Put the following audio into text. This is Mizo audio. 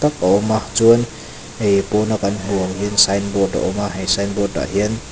a awm a chuan hei pawna ka hmuh ang hian sign board a awm a he sign board ah hian--